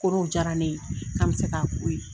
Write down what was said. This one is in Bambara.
Kɔrɔw diyara ne ye n'a bɛ se k'a ko ye.